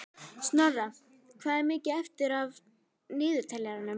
Snorra, hvað er mikið eftir af niðurteljaranum?